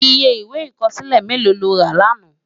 Iyé iwé ikòsilé méló ló rá làná?